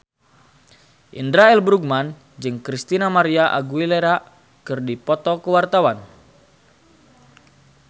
Indra L. Bruggman jeung Christina María Aguilera keur dipoto ku wartawan